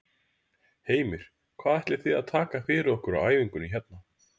Heimir: Hvað ætlið þið að taka fyrir okkur á æfingunni hérna?